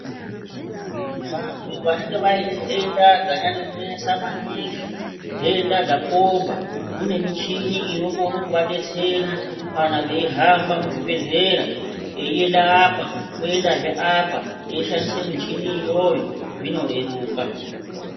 Vantu vanenge vaine ndenda dzanyanya kunesa maningi, ndenda dzakomba kune michini inokone kuvadetsera kana veihamba muzvibhedhleya eienda apo oendazve apo eishandisazve michini iyoyo zvinoreruka .